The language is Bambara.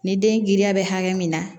Ni den giriya bɛ hakɛ min na